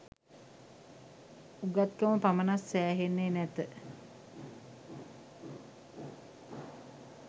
උගත්කම පමණක් සෑහෙන්නේ නැත.